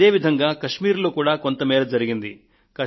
అదే విధంగా కశ్మీర్ లో కూడా కొంతమేర జరిగింది